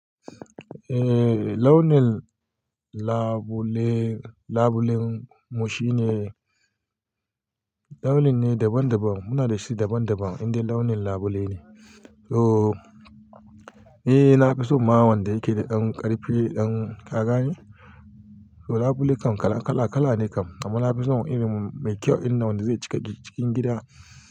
Eh launin labule, labulen mu shine launin ne daban daban. Muna da shi daban daban, inda launin labule ne. So, eh na fi so ma wanda yake da ƙarfi ɗan kagane. So labule kan kala kala kala ne kam. Amma na fi so irin mai kyau ɗin nan wanda zai cika cikin gida.